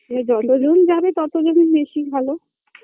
সে যতজন যাবে ততই জন বেশি ভালো